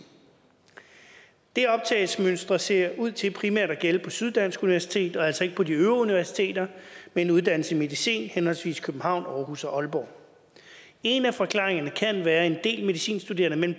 det optagsmønster ser ud til primært at gælde på syddansk universitet og altså ikke på de øvrige universiteter med en uddannelse i medicin henholdsvis i københavn aarhus og aalborg en af forklaringerne kan være at en del af de medicinstuderende mellem